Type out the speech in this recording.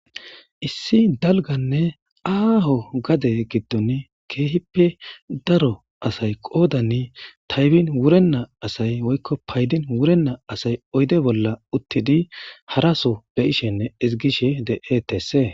Issi dalganne aaho gade giddon keehippe daro asay qoodani taybin wurenna asay woykko paydin wurenna asay oyde bolla uttidi haraso be ishenne izigishe de7etese.